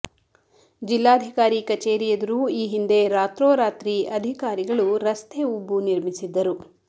ಜಿಲ್ಲಾಧಿಕಾರಿ ಕಚೇರಿ ಎದುರು ಈ ಹಿಂದೆ ರಾತ್ರೋರಾತ್ರಿ ಅಧಿಕಾರಿಗಳು ರಸ್ತೆ ಉಬ್ಬು ನಿರ್ಮಿಸಿದ್ದರು